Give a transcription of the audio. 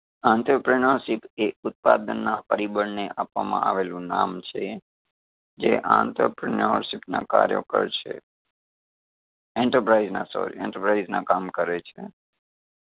entrepreneurship એ ઉત્પાદન ના પરિબળને આપવામાં આવેલું નામ છે. જે entrepreneurship ના કાર્યો કરશે enterprise ના sorry enterprise ના કામ કરે છે.